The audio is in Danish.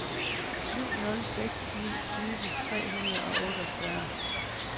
syv nul seks ni tyve tre hundrede og otteogfyrre